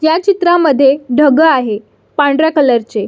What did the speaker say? ह्या चित्रामध्ये ढग आहे पांढऱ्या कलरचे --